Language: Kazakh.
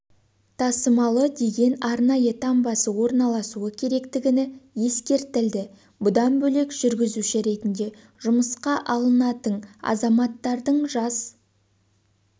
тасымалы деген арнайы таңбасы орналасуы керектігі ескертілді бұдан бөлек жүргізуші ретінде жұмысқа алынатын азаматтардың жас